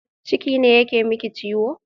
Ciki ne yake miki ciwo?